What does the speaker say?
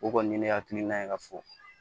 O kɔni ye ne hakiliina ye ka fɔ